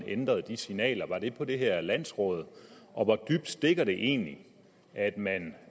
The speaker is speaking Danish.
ændrede de signaler var det på det her landsråd og hvor dybt stikker det egentlig at man